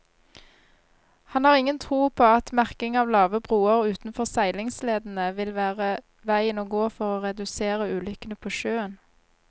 Han har ingen tro på at merking av lave broer utenfor seilingsledene vil være veien å gå for å redusere ulykkene på sjøen.